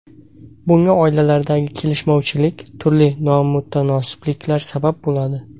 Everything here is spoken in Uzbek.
Bunga oilalardagi kelishmovchilik, turli nomutanosibliklar sabab bo‘ladi.